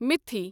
مِتھی